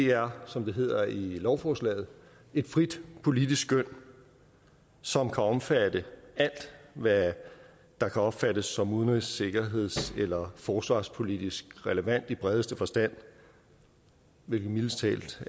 er som det hedder i lovforslaget et frit politisk skøn som kan omfatte alt hvad der kan opfattes som udenrigs sikkerheds eller forsvarspolitisk relevant i bredeste forstand hvilket mildest talt